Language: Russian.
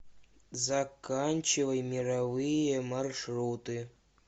заканчивай мировые маршруты